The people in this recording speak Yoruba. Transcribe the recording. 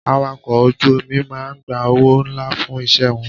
Awakọ̀ ọkọ̀ ojú omi máa ń gba owó ńlá fún iṣẹ́ wọn.